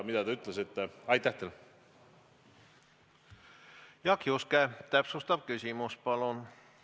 Jaak Juske, täpsustav küsimus, palun!